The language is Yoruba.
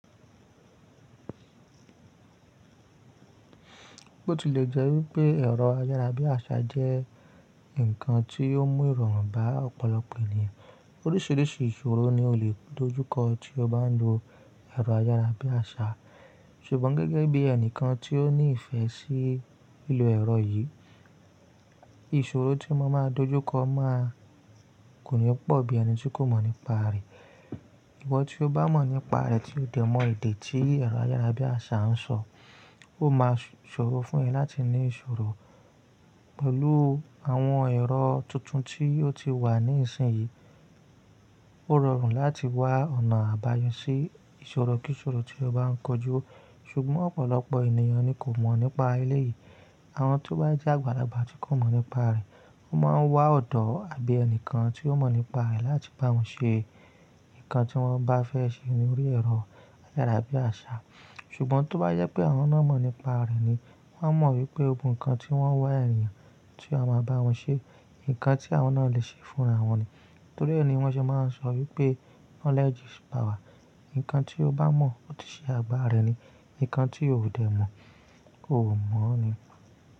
Ó ti lè jẹ́ wípé ẹ̀rọ ayára bí àṣá jẹ́ ǹkan tí ó mú ìrọ̀rùn bá ọ̀pọ̀lọpọ̀ ènìyàn. Oríṣìíríṣìí ìṣòro ni o lè dojúkọ tí o bá ń lo ẹ̀rọ ayára bí àṣá. Ṣùgbọ́n gẹ́gẹ́ bí ẹnìkan tí ó ní ìfẹ́ sí lílo ẹ̀rọ yìí, ìṣòro tí mo máa dojúkọ máa kò ní pọ̀ bí ẹni tí kò mọ̀ nípa rẹ̀. Ìwọ́ tí o bá mọ̀ nípa rẹ̀ tí ó dẹ̀ mọ edè tí ẹ̀rọ ayára bí àṣá ń sọ, ó máa ṣòro fún ẹ láti ní ìṣòro pẹ̀lú àwọn ẹ̀rọ tuntun tí ó ti wà ní ìsìn yìí. Ó rọrùn láti wá ọ̀nà àbáyọ sí ìṣòro kíṣòro tí o bá ń kojú. Ṣùgbọ́n ọ̀pọ̀lọpọ̀ ènìyàn ni kò mọ̀ nípa elé yìí. Àwọn tí wọ́n bá je ágba lágbàá tí kò mọ̀ nípa rẹ̀, wọ́n máa ń wá ọ̀dọ́ àbí ẹnìkan tí ó mọ̀ nípa rẹ̀ láti bá wọn ṣe nǹkan tí wọ́n bá fẹ́ ṣe lórí ẹ̀rọ ayára bí àṣá. Ṣùgbọ́n tí ó bá yẹ pé àwọn náà mọ̀ nípa rẹ̀ ni, wọ́n a mọ̀ wípé gbogbo ǹkan tí wọ́n wá ènìyàn tí ó máa bá wọn ṣe nǹkan tí àwọn náà lè ṣe fún àwọn ni. Torí ẹni wọn ṣe máa ń sọ wípé knowledge is power. Ǹkan tí o bá mọ̀ ó ti ṣe àgbà rẹ ni, nǹkan tí o ò dẹ̀ mọ̀ o ò mọ̀ ni.